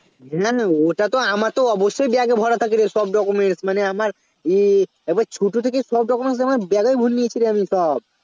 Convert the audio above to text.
ওটাতো আমারতো অবশ্যই Bag এ ভরা থাকে রে সব document মানে আমার উহ একবার ছোটো থেকে সব document আমার bag এর ভোরে নিয়েছিরে আমি সব